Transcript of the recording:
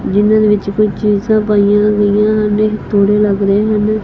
ਜਿੰਨਾਂ ਦੇ ਵਿੱਚ ਕੋਈ ਚੀਜ਼ਾ ਪਾਈਆਂ ਗਈਆਂ ਨੇ ਤੋੜੇ ਲੱਗ ਰਹੇ ਹਨ।